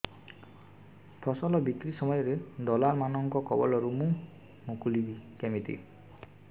ଫସଲ ବିକ୍ରୀ ସମୟରେ ଦଲାଲ୍ ମାନଙ୍କ କବଳରୁ ମୁଁ ମୁକୁଳିଵି କେମିତି